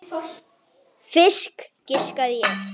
Fisk, giskaði ég.